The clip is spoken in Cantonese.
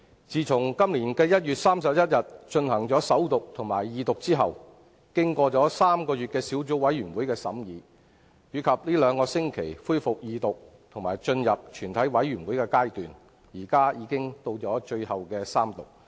自從今年1月31日，進行首讀及二讀後，《條例草案》經過3個月的法案委員會審議，以及這兩個星期恢復二讀及進入全體委員會階段，現在已到了最後的三讀階段。